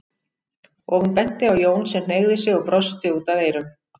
og hún benti á Jón sem hneigði sig og brosti út að eyrum.